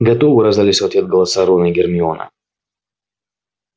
готовы раздались в ответ голоса рона и гермиона